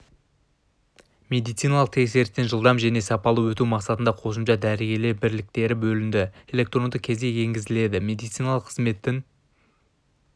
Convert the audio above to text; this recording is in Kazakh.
медициналық тексерістен жылдам және сапалы өту мақсатында қосымша дәрігерлер бірліктері бөлінді электронды кезек енгізілді медициналық қызметтің